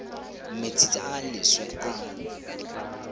metsi a a leswe a